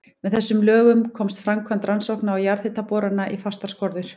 Með þessum lögum komst framkvæmd rannsókna og jarðhitaborana í fastar skorður.